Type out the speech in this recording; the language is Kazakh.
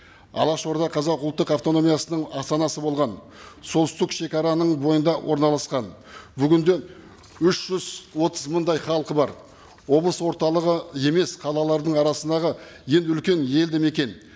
алаш орда қазақ ұлттық автономиясының астанасы болған солтүстік шегараның бойында орналасқан бүгін де үш жүз отыз мыңдай халқы бар облыс орталығы емес қалалардың арасындағы ең үлкен елдімекен